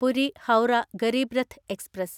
Puri Howrah Garib Rath express